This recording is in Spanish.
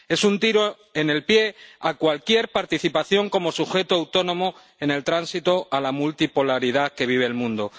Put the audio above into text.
Es un tiro en el pie a cualquier participación como sujeto autónomo en el tránsito a la multipolaridad que vive el mundo.